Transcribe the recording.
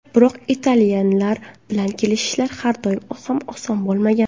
Biroq italyanlar bilan kelishish har doim ham oson bo‘lmagan.